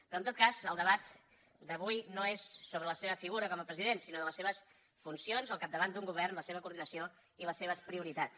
però en tot cas el debat d’avui no és sobre la seva figura com a president sinó sobre les seves funcions al capdavant d’un govern la seva coordinació i les seves prioritats